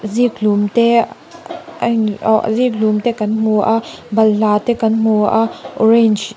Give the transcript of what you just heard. zikhlum te awhh zikhlum te kan hmu a balhla te kan hmu a orange --